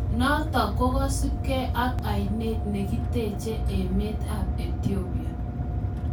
Notok kokosupkei ak Ainet nekitechee emeet ap etiopia